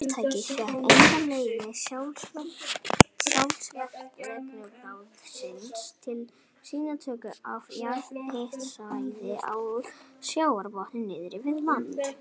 Fyrirtækið fékk einnig leyfi sjávarútvegsráðuneytisins til sýnatöku af jarðhitasvæðum á sjávarbotni norðan við landið.